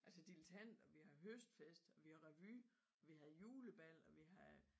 Altså dilettant og vi har høstfest og vi har revy og vi havde julebal og vi havde